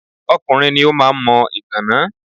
Ọkùnrin ni ó máa ń mọ ìgàná.